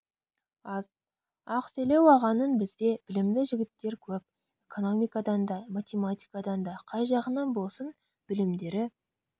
аз ақселеу ағаның бізде білімді жігіттер көп экономикадан да математикадан да қай жағынан болсын білімдері